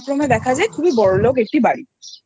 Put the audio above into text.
যায় খুবই বড়োলোক একটি বাড়িআচ্ছা